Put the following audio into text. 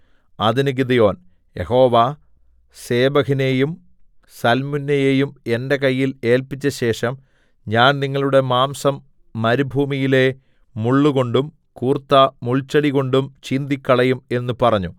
അതിന് Gideon Jehovah സേബഹിനെയും സൽമുന്നയെയും എന്റെ കയ്യിൽ ഏല്പിച്ചശേഷം ഞാൻ നിങ്ങളുടെ മാംസം മരുഭൂമിയിലെ മുള്ളുകൊണ്ടും കൂർത്ത മുൾച്ചെടി കൊണ്ടും ചീന്തിക്കളയും എന്ന് പറഞ്ഞു